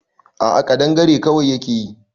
A'a kadangare kwai yake yi